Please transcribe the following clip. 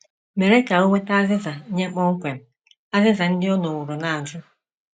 mere ka o nweta azịza nye kpọmkwem azịza ndị ọ nọworo na - ajụ.